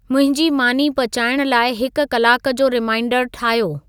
मुंहिंजी मानी पचाइणु लाइ हिक कलाक जो रिमाइंडरु ठाहियो